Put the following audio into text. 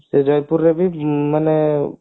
ସେ ଜୟପୁରରେ ବି ମାନେ